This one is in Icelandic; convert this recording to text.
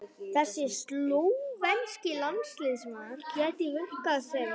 Þessi slóvenski landsliðsmaður gæti virkað sem